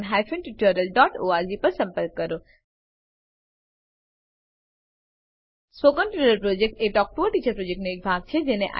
spoken tutorial project talk to a teacher પ્રોજેક્ટનો એક ભાગ છે